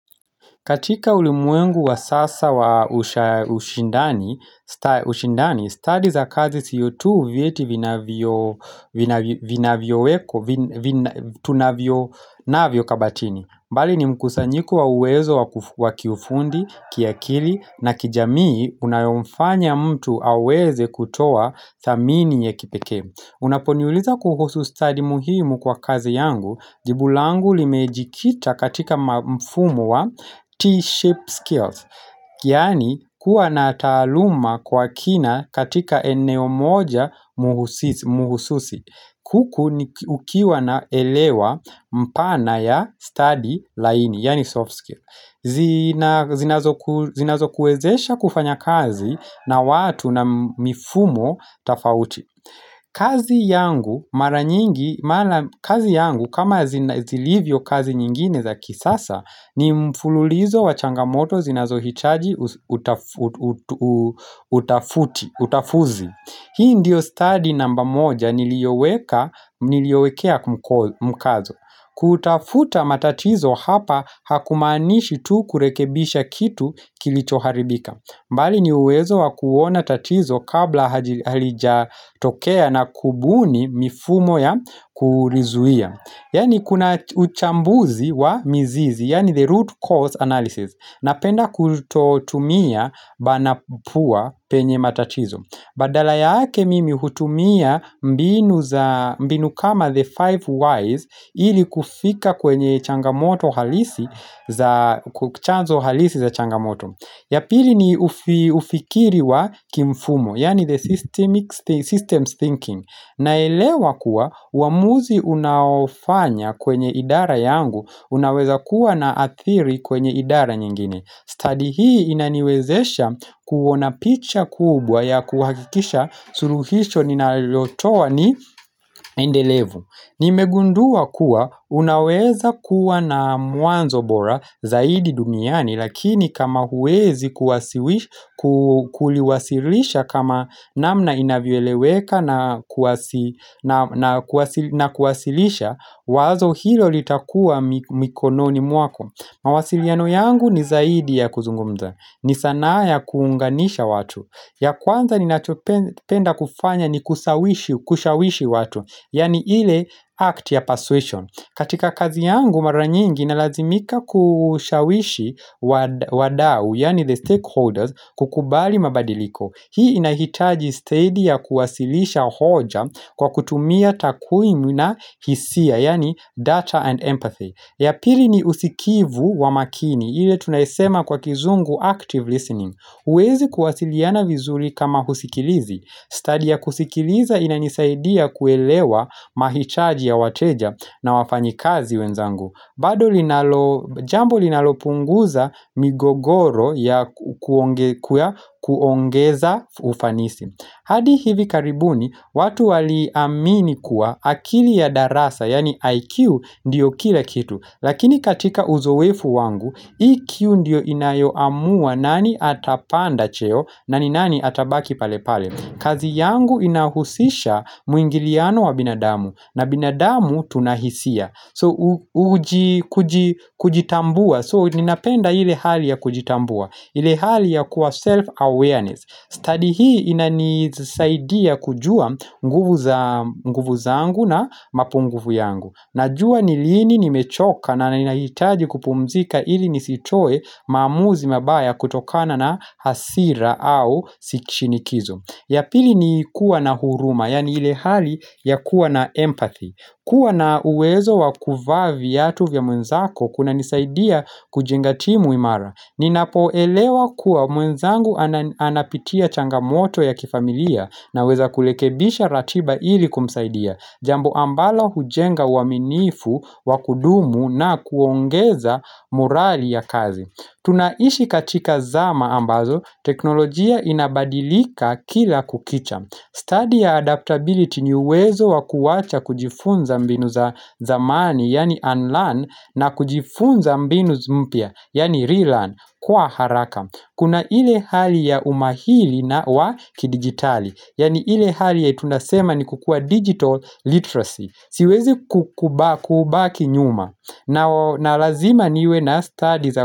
Katika ulimwengu wa sasa wa ushindani, study za kazi siyo tu vieti vinavyo wekwa, tunavyo navyo kabatini. Mbali ni mkusanyiko wa uwezo wa kiufundi, kiakili na kijamii unayomfanya mtu aweze kutoa thamini ya kipeke. Unaponiuliza kuhusu study muhimu kwa kazi yangu jibu langu limejikita katika mfumo wa T-shape skills Yani kuwa na taaluma kwa kina katika eneo moja muhususi Huku ukiwa na elewa mpana ya study laini, yani soft skill zinazo kuezesha kufanya kazi na watu na mifumo tafauti kazi yangu, kama zilivyo kazi nyingine za kisasa, ni mfululizo wa changamoto zinazohitaji utafuti, utafuzi. Hii ndiyo study namba moja niliowekea mkazo. Kutafuta matatizo hapa hakumaanishi tu kurekebisha kitu kilichoharibika. Mbali ni uwezo wakuona tatizo kabla halijatokea na kubuni mifumo ya kulizuia Yani kuna uchambuzi wa mizizi, yani the root cause analysis Napenda kutotumia banapua penye matatizo Badala yake mimi hutumia mbinu kama the five Ys ili kufika kwenye changamoto halisi za changamoto ya pili ni ufikiri wa kimfumo, yani the system thinking. Naelewa kuwa uwamuzi unaofanya kwenye idara yangu, unaweza kuwa na athiri kwenye idara nyingine. Study hii inaniwezesha kuona picha kubwa ya kuhakikisha suluhisho ninalotowa ni endelevu. Nimegundua kuwa unaweza kuwa na mwanzo bora zaidi dumiani lakini kama huwezi kuliwasilisha kama namna inavyoeleweka na kuwasilisha wazo hilo litakua mikononi mwako. Mawasiliano yangu ni zaidi ya kuzungumza, ni sanaa ya kuunganisha watu ya kwanza ninachopenda kufanya ni kushawishi watu, yani ile act ya persuasion katika kazi yangu maranyingi nalazimika kushawishi wadau, yani the stakeholders, kukubali mabadiliko Hii inahitaji steady ya kuwasilisha hoja kwa kutumia takuimu na hisia, yani data and empathy ya pili ni usikivu wa makini, ile tunaisema kwa kizungu active listening. Uwezi kuwasiliana vizuri kama usikilizi. Study ya kusikiliza inanisaidia kuelewa mahitaji ya wateja na wafanyikazi wenzangu. Bado jambo linalopunguza migogoro ya kuongeza ufanisi. Hadi hivi karibuni, watu wali amini kuwa akili ya darasa, yani IQ, ndiyo kila kitu. Lakini katika uzowefu wangu, EQ ndiyo inayoamua nani atapanda cheo, nani nani atabaki pale pale. Kazi yangu inahusisha muingiliano wa binadamu, na binadamu tunahisia. So uji kujitambua, so ninapenda ile hali ya kujitambua, ile hali ya kuwa self-awareness. Study hii ina nisaidia kujua nguvu za nguvu zangu na mapunguvu yangu Najua ni lini nimechoka na ninahitaji kupumzika ili nisitoe maamuzi mabaya kutokana na hasira au shinikizo ya pili ni kuwa na huruma, yani ile hali ya kuwa na empathy kuwa na uwezo wa kuvaa viatu vya mwenzako kunanisaidia kujenga timu imara Ninapo elewa kuwa mwenzangu anapitia changamoto ya kifamilia naweza kulekebisha ratiba ili kumsaidia Jambo ambalo hujenga uwaminifu, wa kudumu na kuongeza morali ya kazi Tunaishi katika zama ambazo, teknolojia inabadilika kila kukicha Study ya adaptability ni uwezo wakuwacha kujifunza mbinu za zamani, yani unlearn, na kujifunza mbinu mpya, yani relearn, kwa haraka. Kuna ile hali ya umahili na wa kidigitali, yani ile hali ya tunasema ni kukuwa digital literacy. Siwezi kukubaki nyuma. Na lazima niwe na study za kukubaki.